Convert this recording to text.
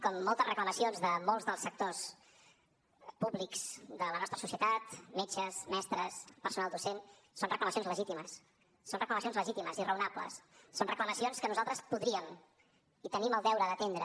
com moltes reclamacions de molts dels sectors públics de la nostra societat metges mestres personal docent són reclamacions legítimes són reclamacions legítimes i raonables són reclamacions que nosaltres podríem i tenim el deure d’atendre